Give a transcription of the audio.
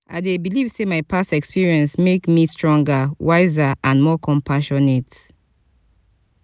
i dey believe say my past experiences make me stronger wiser and more compassionate.